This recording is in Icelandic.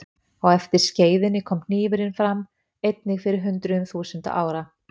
Á eftir skeiðinni kom hnífurinn fram, einnig fyrir hundruðum þúsunda ára.